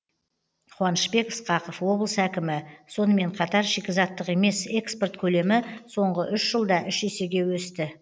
қуанышбек ысқақов облыс әкімі сонымен қатар шикізаттық емес экспорт көлемі соңғы үш жылда үш есеге өсті